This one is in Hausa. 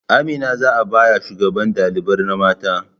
Amina za'a baya shugaban ɗalibar na mata